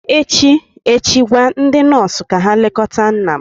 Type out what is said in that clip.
echi gwa ndị nọọsụ ka ha lekọta nna m!